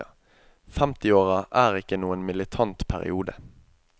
Femtiåra er ikke noen militant periode.